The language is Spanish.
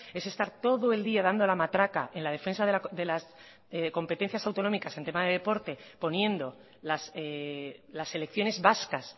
es estar todo el día dando la matraca en la defensa de las competencias autonómicas en tema de deporte poniendo las elecciones vascas